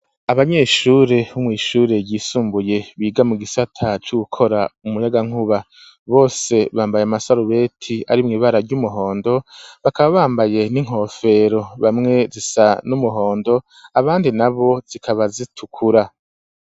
Abanyeshure, bo mwishure ryisumbuye biga mu gisata cugukora umunyagankuba ,bose bambaye amasarubeti ari mw' ibara ry'umuhondo, bakaba bambaye n'inkofero bamwe zisa n'umuhondo ,abandi na bo zikaba zitukura.